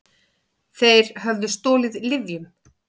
Þeir höfðu stolið lyfjum.